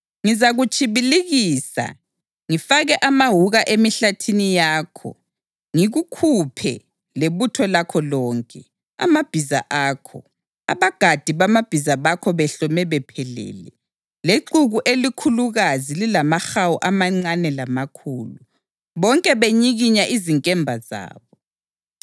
Ngizakutshibilikisa, ngifake amawuka emihlathini yakho ngikukhuphe lebutho lakho lonke, amabhiza akho, abagadi bamabhiza bakho behlome bephelele, lexuku elikhulukazi lilamahawu amancane lamakhulu, bonke benyikinya izinkemba zabo.